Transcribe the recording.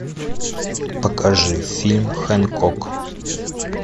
покажи фильм хэнкок